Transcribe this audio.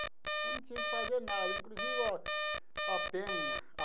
Eu não tinha que fazer nada, inclusive a a Penha.